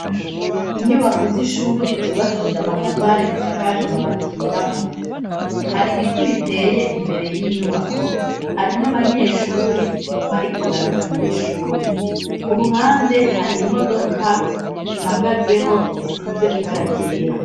Inyubako z'ishuri zubakishije amatafari zisakaje amabati yirabura hari ibiti biteye imbere y'inyubako hari n'abanyeshuri bariko baraja mw'shuri ku ruhande hari imodoka ihagazeho isize ibara ryera.